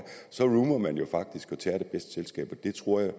så roamer man jo faktisk og tager det bedste selskab og det tror jeg